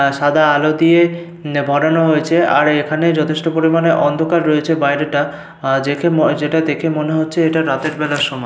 আর সাদা আলো দিয়ে বানানো হয়েছে আর এখানে যথেষ্ট পরিমানে অন্ধকার রয়েছে বাইরেটা। আহ দেখে যেটা দেখে মনে হচ্ছে এটা রাতের বেলার সময়।